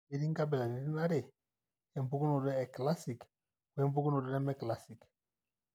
Ketii inkabilaitin are, empukunoto ekilasic oempukunoto nemekilasic.